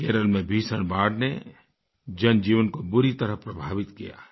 केरल में भीषण बाढ़ ने जनजीवन को बुरी तरह प्रभावित किया है